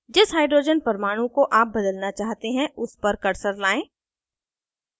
जिस hydrogen परमाणु को आप बदलना चाहते हैं उस पर cursor लाएं